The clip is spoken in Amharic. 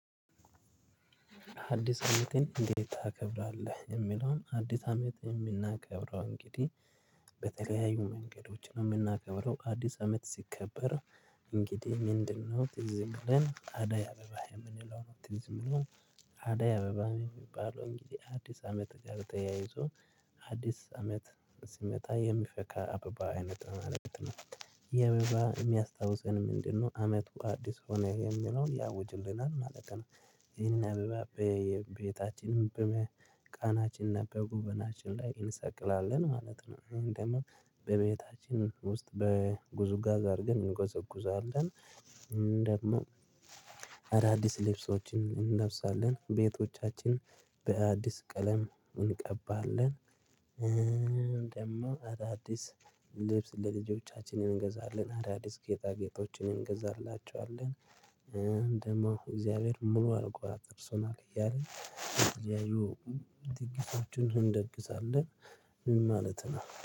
አዲስ አመትን እንዴት ታከብራለህ? የሚለውን አዲስ አመት የምናከብረው እንግዲህ በተለያዩ መንገዶች ነው የምናከብረው አዲስ አመት ሲከበር። እንግዲህ ምንድነው ትዝ የሚለን አዳይ አበባ የምንለው ነው። ትዝ ብሎን። አዳይ አበባ የሚባለው እንግዲህ አዲስ አመት ጋር ተያይዞ አዲስ አመት ሲመጣ የሚፈካ አበባ አይነት ነው። የሚያስታውሰን ምንድነው? አመቱ አዲስ ሆነ የሚለውን ያውጅልናል ማለት ነው። ይህንን በቤታችን በመቃናችን እና በጉበናችን ላይ እንሰቅላለን ማለት ነው። እንደውም በቤታችን ውስጥበጉዝጓዝ አድርገን እንጎዘጉዛለን እንደውም አዳዲስ ልብሶችን እንለብሳለን ቤቶቻችን በአዲስ ቀለም እንቀባለን። ደግሞ አዳዲስ ልብስ ለልጆቻችን እንገዛለን አዳዲስ ጌጣ ጌጦችን እንገዛላችኋለን። እንዲሁ እግዚአብሔር ሙሉ አልቆራጠር ሰው ነው እያለ የተለያዩ ድግሶችን ሁላ ደግሳለህ። ምን ማለት ነው